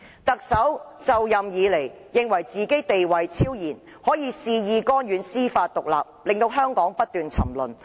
"特首就任以來，認為自己地位超然，恣意干預司法獨立，導致香港不斷沉淪。